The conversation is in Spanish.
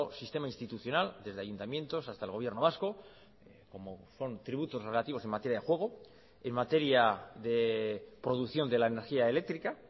sistema institucional desde ayuntamientos hasta el gobierno vasco como son tributos relativos en materia de juego en materia de producción de la energía eléctrica